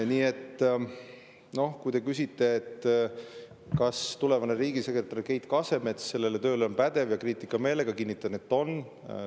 Nii et kui te küsite, kas tulevane riigisekretär Keit Kasemets selle töö jaoks on pädev ja kriitikameelega, siis ma kinnitan, et on.